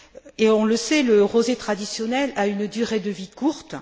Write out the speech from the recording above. Et, on le sait, le rosé traditionnel a une durée de vie courte.